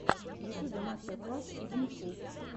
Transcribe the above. в ютьюбе мастер класс идмм клуб